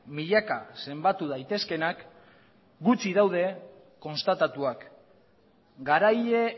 milaka zenbatu daitezkeenak gutxi daude konstatatuak garaile